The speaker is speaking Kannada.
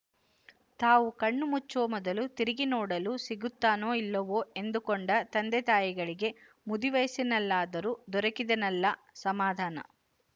ತಾವು ಕಣ್ಣು ಮುಚ್ಚುವ ಮೊದಲು ತಿರುಗಿ ನೋಡಲು ಸಿಗುತ್ತಾನೋ ಇಲ್ಲವೋ ಎಂದುಕೊಂಡ ತಂದೆತಾಯಿಗಳಿಗೆ ಮುದಿವಯಸ್ಸಿನಲ್ಲಾದರೂ ದೊರಕಿದನಲ್ಲ ಸಮಾಧಾನ